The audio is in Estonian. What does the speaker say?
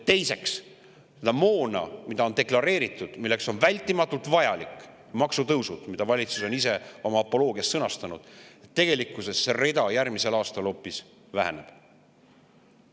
Teiseks on deklareeritud, et on vältimatult vajalikud maksutõusud, nagu valitsus ise on oma apoloogias sõnastanud, aga tegelikkuses see rida järgmisel aastal hoopis väheneb.